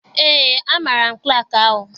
Eé, amaara m klaakị ahụ.